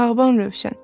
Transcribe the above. Bağban Rövşən.